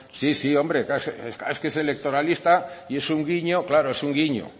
sí sí hombre es electoralista y es un guiño claro es un guiño